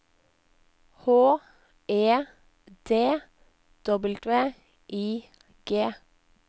H E D W I G